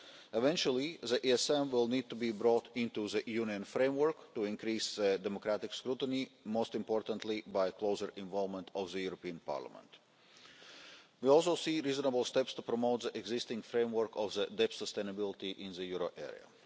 Eventually, the ESM will need to be brought into the Union framework to increase democratic scrutiny, most importantly by closer involvement of the European Parliament. We also see reasonable steps to promote the existing framework of the debt sustainability in the euro area.